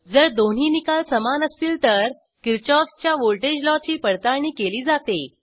जर दोन्ही निकाल समान असतील तर किरशॉफ च्या व्हॉल्टेज लॉची पडताळणी केली जाते